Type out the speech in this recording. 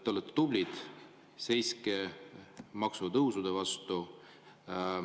Te olete tublid, seiske maksutõusude vastu.